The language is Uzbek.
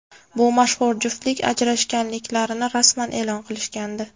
Bu mashhur juftlik ajrashganliklarini rasman e’lon qilishgandi.